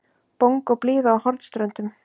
Bongóblíða á Hornströndum.